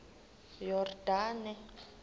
yordane